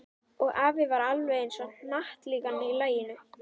Og afi var alveg eins og hnattlíkan í laginu.